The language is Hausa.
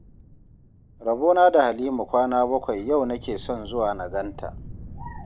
Rabona da Halima kwana bakwai yau nake son zuwa na gan ta